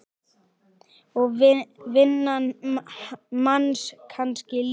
Og vinnan manns kannski líka.